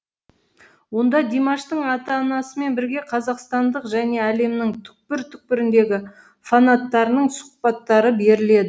онда димаштың ата анасымен бірге қазақстандық және әлемнің түкпір түкпіріндегі фанаттарының сұхбаттары беріледі